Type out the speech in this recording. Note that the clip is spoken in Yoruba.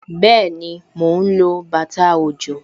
Bẹẹni, mo ń lo bàtà òjò